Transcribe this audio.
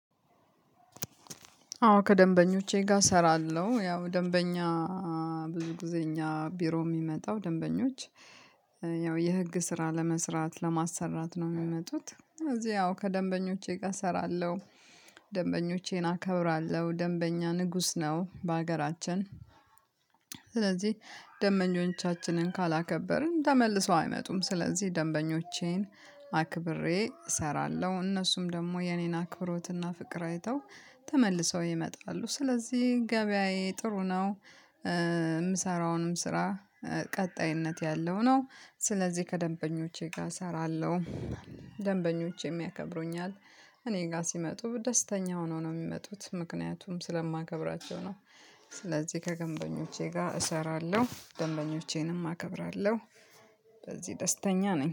አዎ ከደንበኞቼ ጋር እሰራለሁ ያው ደንበኛ ብዙ ጊዜ እኛ ቢሮ የሚመጣው ደንበኞች ያው የሕግ ስራ ለመስራት ለማሰራት ነው የሚመጡት እዚህ ያው ከደንበኞቼ ጋር እሰራለሁ። ደንበኞቼን አከብራለሁ ደንበኛ ንጉሥ ነው በሀገራችን። ስለዚህ ደንበኞቻችንን ካላከበርን ተመልሰው አይመጡም። ስለዚህ ደንበኞቼን አክብሬ እሰራለሁ እነሱም ደግሞ የኔን አክብሮትና ፍቅር አይተው ተመልሰው ይመጣሉ። ስለዚህ ገበያዬ ጥሩ ነው። የምሠራውንም ስራ ቀጣይነት ያለው ነው ስለዚህ ከደንበኞቼ ጋር እሰራለሁ። ደንበኞቼም የሚያከብሩኛል። እኔ ጋር ሲመጡ ደስተኛ ሆነው ነው የሚመጡት ምክንያቱም ስለማከብራቸው ነው። ስለዚህ ከደንበኞቼ ጋር እሰራለሁ ደንበኞቼንም አከብራለሁ። በዚህ ደስተኛ ነኝ